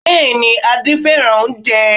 Bẹ́ẹ̀ ni, Adé fẹ́ràn oúnjẹ